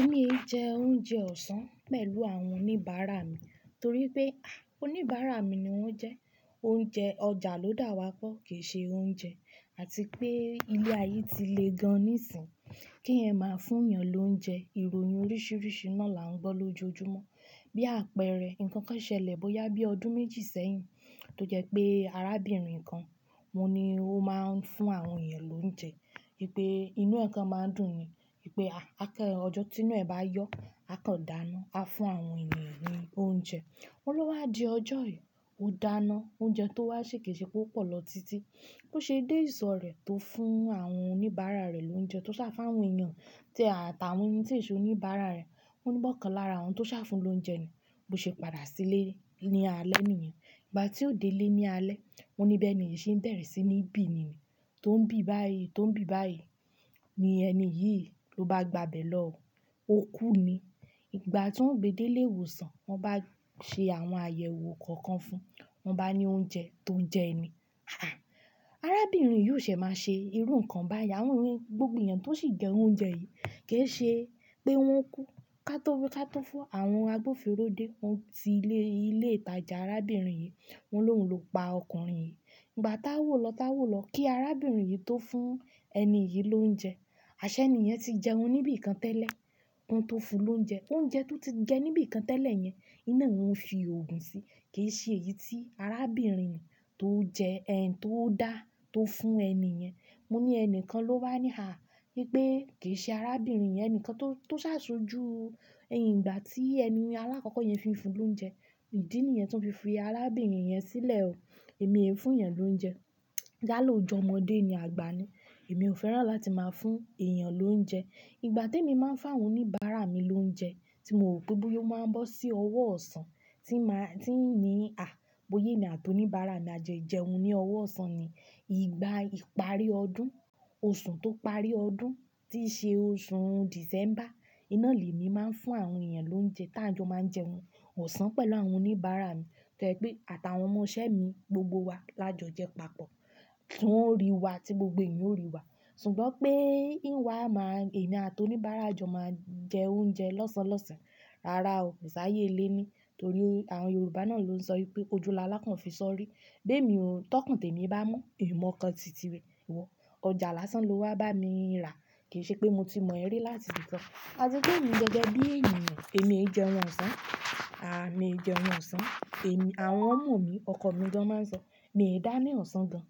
Èmi ń jẹ oúnjẹ ọ̀sán pẹ̀lú àwọn oníbàárà mi torí pé, à, oníbàárà mi ni wọ́n jẹ́. Oúnjẹ ọjà ló dà wá pọ̀ kìí ṣe oúnjẹ àti pé ilé ayé ti le gan-an níìsín. Kí ẹ máa fún èèyàn lóúnjẹ, ìròyìn oríṣiríṣi náà là ń gbọ́ lójoojúmọ́. Bí àpẹẹrẹ, nnkan kan ṣẹlẹ̀ bóyá bí ọdún méjì sẹ́yìn tó jẹ pé arábìnrin kan, òun ni ó máa ń fún àwọn èèyàn lóúnjẹ. Pé inú ẹ̀ kan máa ń dùn ni. Wipe, à, kẹ́rẹ ọjọ́ tínú ẹ bá yọ, a kàn dáná, a fún àwọn ènìyàn ní oúnjẹ. O lọ wá di ọjọ́ yìí, ó dáná, oúnjẹ tó wá ṣè kiiṣe pé ó pọ̀ lọ títí. Bí ó ṣe dé ìsọ̀ rẹ̀ tó fún àwọn oníbàárà rẹ̀ lóúnjẹ tó sá fún àwọn èèyàn, tí àtàwọn ẹni tí e ṣó oníbàárà rẹ̀, wọ́n ní bọ́kànlára àwọn tó sá fún lóúnjẹ ni. Bí ó ṣe padà sílé ní alẹ́ nìyẹn. Ìgbà tí ó dé ilé ní alẹ́, wọ́n ní bẹ́ẹ̀ ni, ìṣe ń bẹ̀rẹ̀ sí ní bì ni. Tó ń bì báyìí, tó ń bì báyìí, ni ẹni yìí ló bá gba bẹ̀ lọ, ó kú ni. Ìgbà tí wọ́n gbé dé ilé ìwòsàn, wọ́n bá ṣe àwọn àyẹ̀wò kọ̀ọ̀kan fún un, wọ́n bá ní oúnjẹ tó jẹ ẹni. Arábìnrin yìí ó ṣẹ̀ máa ṣe irú nǹkan báyi àwón yen, gbogbo èèyàn tó sì jẹ oúnjẹ yìí kì í ṣe pé wọ́n kú. Kátó wí kátó fo, àwọn agbófinró dé, wọ́n ti lé ilé ìtajà arábìnrin yìí, wọn ló hun ló pa ọkùnrin yìí. Ìgbà táwò lọ táwò lọ kí arábìnrin yìí tó fún ẹni yìí lóúnjẹ, àṣẹ ènìyẹn ti jẹun níbí kan tẹ́lẹ̀, ohun tó fún lóúnjẹ, oúnjẹ tó ti jẹ níbí kan tẹ́lẹ̀ yẹn, iná ni wọ́n fi òògùn sí. Kì í ṣe èyí tí arábìnrin tó jẹ tó dá tó fún ẹni yẹn. Mo ní ẹni kan ló wá ní, à, wípé kì í ṣe arábìnrin yẹn enìkan tó, tó sàṣojú ẹyin ìgbà tí ẹni aláàkọ́kọ́ yẹn fi ń fún lóúnjẹ. Ìdí nìyẹn tí wọ́n fi fi arábìnrin yẹn sílẹ̀ o. Èmi ẹ̀ fún èèyàn lóúnjẹ. Dálu o jọmọ́ dé ni àgbà ni. Èmi ò fẹ́ràn láti máa fún èèyàn lóúnjẹ. Ìgbà tí èmi máa ń fá àwọn oníbàárà mi lóúnjẹ tí mo rò pé bí yó máa ń bọ́ sí ọwọ́ ọ̀sán, tí mà, tí n nì, à, bóyé emi àti oníbàárà mi máa jẹun ní ọwọ́ ọ̀sán ni. Ìgbà ìparí ọdún, oṣù tó parí ọdún tí ṣe oṣù December, oun ná lemi màá ń fún àwọn èèyàn lóúnjẹ tá jọ máa ń jẹun ọ̀sán pẹ̀lú àwọn oníbàárà mi. Toje pé àtàwọn ọmọ isẹ́ mi, gbogbo wa lájọ jẹ papọ̀. Ti won o rí wa tí gbogbo èèyàn ó rí wa. Sugbọn pé hìn wa màá, èmi àti oníbàárà jọ máa jẹ oúnjẹ lọ́sàn-án lọ́sàn-án. Rárá o, kò sáyé lé mi torí àwọn Yorùbá náà ló ń sọ wípé ojúu la lákàn fi sọ ọ́ rí. Gbé mi òun, tọkùn tí èmi bá mọ́, èmi ò mọ kán tìtì wọ. Ọjà lásán ló wá bá mi rà. Kì í ṣe pé mo ti mọ ẹ rí láti íbikàn. Àti pé mi gangan bí ènìyàn, èmi e hiń jẹun ọ̀sán, à, mi e hiń jẹun ọ̀sán. Èmi, à wọn mọ mi, ọkọ mi gan máa ń sọ, "Mi e hin dáná ọ̀sán gan-an."